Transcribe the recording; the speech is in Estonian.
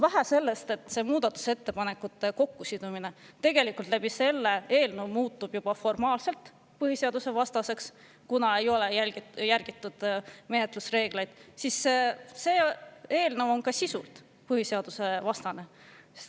Vähe sellest, et muudatusettepanekute kokkusidumine selle eelnõu puhul on juba formaalselt põhiseadusevastane, kuna ei ole järgitud menetlusreegleid, aga see eelnõu on ka sisult põhiseadusevastane.